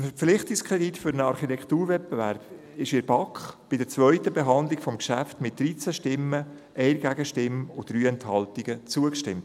Dem Verpflichtungskredit für einen Architekturwettbewerb wurde in der BaK bei der zweiten Behandlung des Geschäfts mit 13 Stimmen, einer Gegenstimme und 3 Enthaltungen zugestimmt.